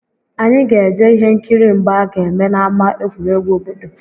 Anyị ga-eje ihe nkiri mgba a ga-eme n'ámá egwuregwu obodo